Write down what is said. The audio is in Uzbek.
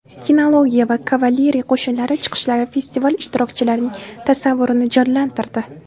Kinologiya va kavaleriya qo‘shinlari chiqishlari festival ishtirokchilarining tasavvurini jonlantirdi.